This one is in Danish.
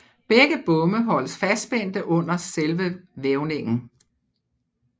Begge bomme holdes fastspændte under selve vævningen